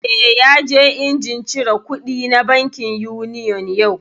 Eh, ya je injin cire kuɗi na bankin Union yau